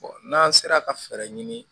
n'an sera ka fɛɛrɛ ɲini